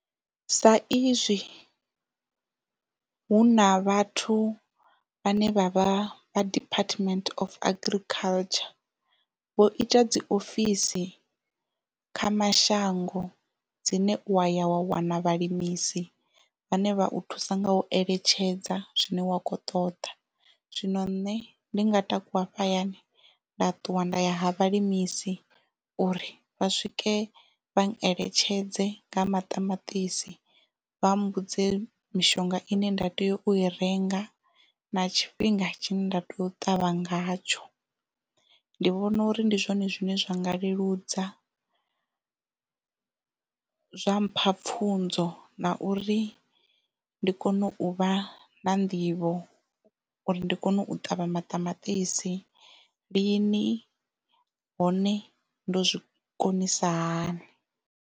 Sa izwi hu na vhathu vhane vha vha vha department of agriculture vho ita dzi ofisi kha mashango dzine u waya wa wana vhalimisi vhane vha thusa nga u eletshedza zwine wa kho ṱoḓa zwino nṋe ndi nga takuwa hafha hayani nda ṱuwa nda ya ha vhalimisi uri vha swike vha eletshedze nga maṱamaṱisi vha mmbudze mishonga ine nda tea u i renga na tshifhinga tshine nda tea u ṱavha ngatsho ndi vhona uri ndi zwone zwine zwa nga leludza zwa mpha pfunzo na uri ndi kone u vha na nḓivho uri ndi kone u ṱavha maṱamaṱisi lini hone ndo zwikonisa hani.